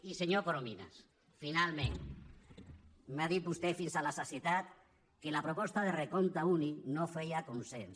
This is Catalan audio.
i senyor corominas finalment m’ha dit vostè fins a la sacietat que la proposta de recompte únic no feia consens